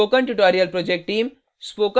spoken tutorial project team